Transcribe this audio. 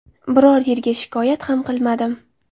Biror yerga shikoyat ham qilmadim.